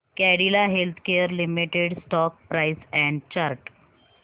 Cadila Healthcare Limited stock price and chart